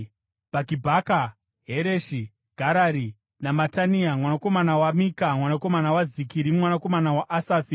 Bhakibhaka, Hereshi, Garari naMatania mwanakomana waMika, mwanakomana waZikiri, mwanakomana waAsafi;